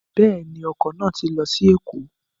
Bẹ́ẹ̀ ju, ọkọ̀ náà ti lọ sí Èkó.